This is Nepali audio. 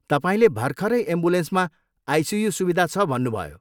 तपाईँले भर्खरै एम्बुलेन्समा आइसियु सुविधा छ भन्नुभयो।